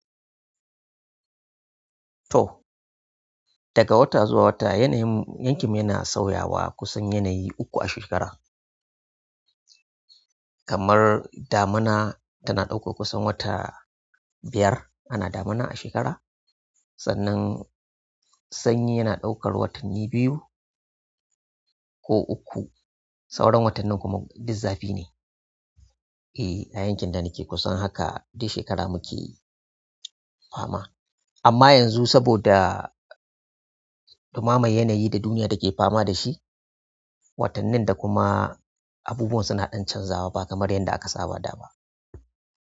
To daga wata zuwa wata yanayin yankin mu yana sauyawa kusan yanayi uku a shekara. Kamar damuna tana ɗaukar kusan wata biyar ana damuna a shekara. Sannan sanyi yana ɗaukar watanni biyu ko uku. Sauran watannin kuma duk zafi ne. Eh, a yankin da nake kusan haka duk shekara muke fama. Amma yanzu saboda dumamar yanayi da duniya take fama da shi, watannin da kuma abubuwan suna ɗan canzawa ba kamar yadda aka saba da ba.